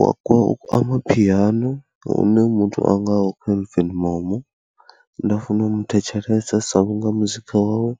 Wa kwa Amaphiano une muthu a ngaho Kelvin Momo nda funa u mu thetshelesa sa vhunga muzika wawe